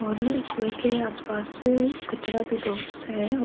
और कुवे के आस-पास कचरा भी बहुत सा है और --